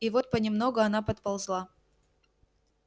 и вот понемногу она подползла